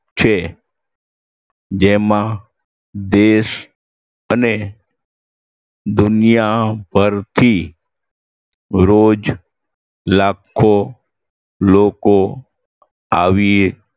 છે જેમાં દેશ અને દુનિયાભરથી રોજ લાખો લોકો આવે